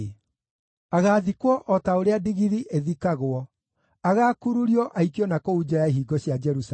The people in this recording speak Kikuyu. Agaathikwo o ta ũrĩa ndigiri ĩthikagwo: agaakururio, aikio na kũu nja ya ihingo cia Jerusalemu.”